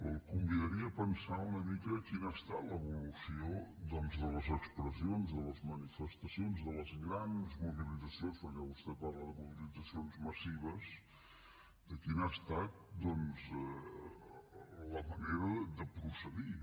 el convidaria a pensar una mica quina ha estat l’evolució doncs de les expres sions de les manifestacions de les grans mobilitzacions perquè vostè parla de mobilitzacions massives de quina ha estat la manera de procedir